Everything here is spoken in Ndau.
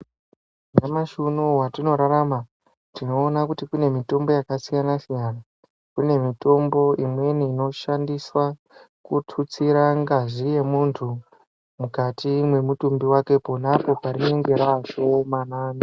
Nyamashi uno uyu watinorarama tinoona kuti kune mitombo yakasiyana siyana kune mitombo imweni inoshandiswa kututsira ngazi yemuntu mukati mwemutumbi wake konapo parinenge rashomanana .